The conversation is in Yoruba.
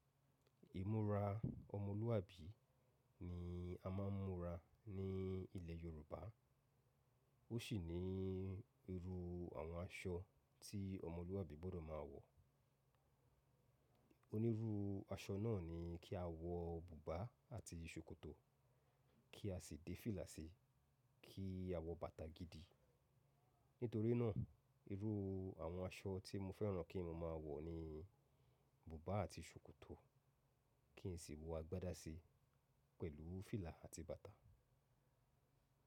Ìmúra ọmọlúwàbí ni a máa ń múra ní ilẹ̀ Yorùbá. Ó sì ní irú àwọn aṣọ tí ọmọlúwàbí gbọ́dọ̀ máa wọ̀. Onírú aṣọ náà ni kí a wọ bùbá àti ṣòkòtò, kí a sì dé fílà sí i, kí a wọ bàtà gidi. Nítorí náà, irú àwọn aṣọ tí mo fẹ́ràn kí mo máa wọ̀ ni bùbá àti ṣòkòtò, kí n sì wọ agbádá sí i pẹ̀lú fílà àti bàtà.